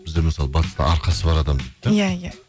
бізде мысалы батыста арқасы бар адам иә иә